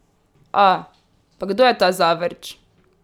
A: 'Pa kdo je ta Zavrč?